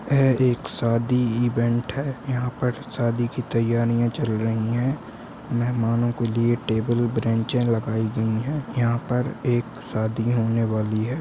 यह एक शादी इवेंट है यहाँ पर शादी की तैयारियां चल रही है मेहमानों को लिए टेबल बेंचे लगाई गई है यहाँ पर एक शादी होने वाली है।